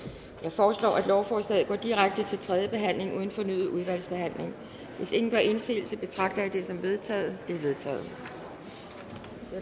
foreslår at lovforslaget går direkte til tredje behandling uden fornyet udvalgsbehandling hvis ingen gør indsigelse betragter jeg dette som vedtaget vedtaget